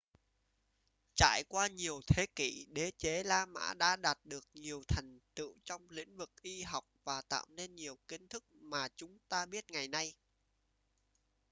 trải qua nhiều thế kỷ đế chế la mã đã đạt được nhiều thành tựu trong lĩnh vực y học và tạo nên nhiều kiến thức mà chúng ta biết ngày nay